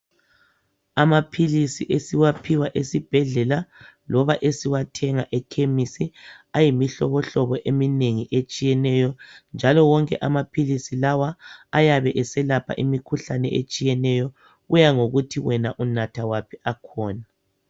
Amaphilisi esiwaphiwa esibhedlela loba esiwathenga ekhemisi ayimihlobo hlobo eminengi etshiyeneyo njalo wonke amaphilisi lawa ayabe eselapha imikhuhlane etshiyeneyo kuya ngokuthi wena unatha waphi akhona.